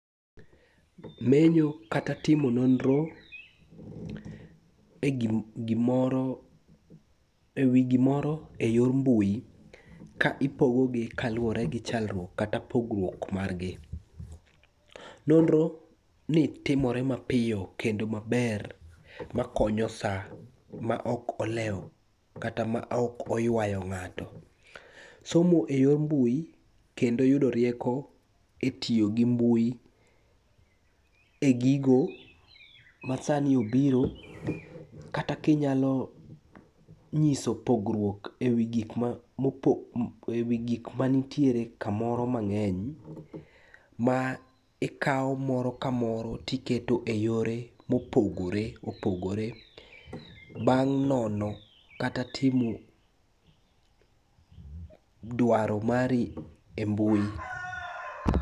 Menyo kata timo nonro e wi gimoro e yor mbui ka ipogogi kaluwore gi chalruok kata pogruok marghi. Nonroni timore mapiyo kendo maber makonyo sa ma ok olewo kata maok oywayo ng'ato. Somo e yor mbui kendo yudo rieko e tiyo gi mbui e gigo masani obiro kata kinyalo nyiso pogruok e wi gikma nitiere kamoro mang'eny ma ikawo moro kamoro tiketo e yore mopogore opogore bang' nono kata timo dwaro mari e mbui.